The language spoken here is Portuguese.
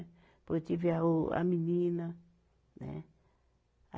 Depois tive a o, a menina, né? a